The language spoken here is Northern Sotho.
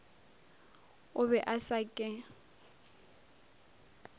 o be a sa ke